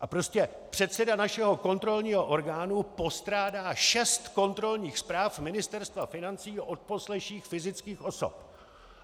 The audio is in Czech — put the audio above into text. A prostě předseda našeho kontrolního orgánu postrádá šest kontrolních zpráv Ministerstva financí o odposleších fyzických osob!